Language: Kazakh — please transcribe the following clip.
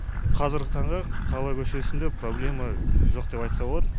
қазіргі таңда қала көшесінде проблема жоқ деп айтса болады